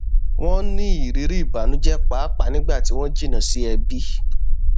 wọn ní ìrírí ìbànújẹ pàápàá nígbà tí wọn jìnnà sí ẹbí